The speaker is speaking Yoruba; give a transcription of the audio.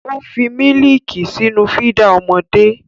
Ó fi mílíìkì sínú fídà ọmọdé.